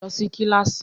Lọ sí kíláàsì!